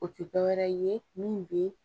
O tɛ dɔ wɛrɛ ye min bɛ